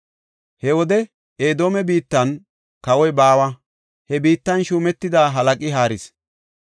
He wode Edoome biittan kawoy baawa; he biittan shuumetida halaqi haaris.